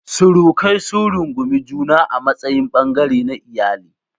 Surukai sun rungumi juna a matsayin ɓangare na iyali.